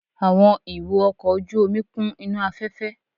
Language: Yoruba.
Àwọn ìwo ọkọ̀ ojú omi kún inú afẹ́fẹ́